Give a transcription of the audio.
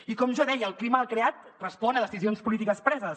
i com jo deia el clima creat respon a decisions polítiques preses